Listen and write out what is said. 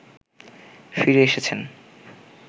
ফিরে এসেছেন